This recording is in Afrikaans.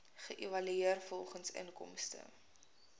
geëvalueer volgens inkomste